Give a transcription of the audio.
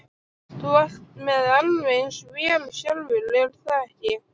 Þú ert með alveg eins vél sjálfur, er það ekki?